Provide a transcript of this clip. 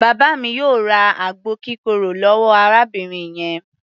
Bàbá mi yóò ra àgbo kírokò lọ́wọ́ arábìnrin yẹn.